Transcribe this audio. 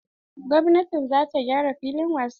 Gwamnatin za ta gyara filin wasa.